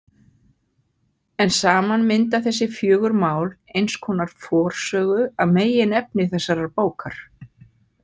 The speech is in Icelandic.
En saman mynda þessi fjögur mál eins konar forsögu að meginefni þessarar bókar.